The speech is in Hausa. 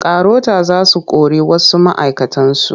Karota za su kori wasu ma'aikatansu.